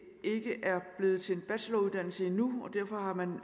blevet til en bacheloruddannelse endnu og derfor har man